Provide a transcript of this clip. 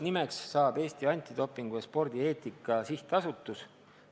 Nimeks jääb Eesti Antidopingu ja Spordieetika Sihtasutus.